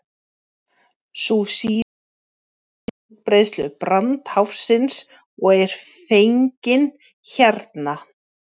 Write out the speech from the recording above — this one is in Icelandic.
sú síðari sýnir útbreiðslu brandháfsins og er fengin hérna